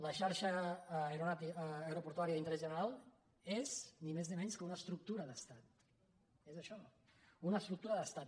la xarxa aeroportuària d’interès general és ni més ni menys que una estructura d’estat és això una estructura d’estat